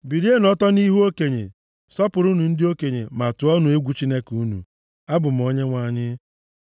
“ ‘Bilienụ ọtọ nʼihu okenye, sọpụrụnụ ndị okenye, ma tụọnụ egwu Chineke unu. Abụ m Onyenwe anyị.